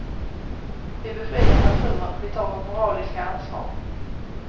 Vi befriar naturen, vi tar vårt moraliska ansvar.